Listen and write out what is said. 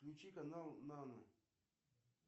включи канал нано